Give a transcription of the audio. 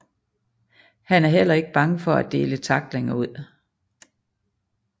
Han er heller ikke bange for at dele tacklinger ud